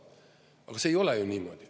Aga see ei ole ju niimoodi.